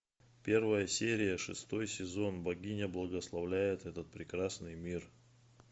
первая серия шестой сезон богиня благословляет этот прекрасный мир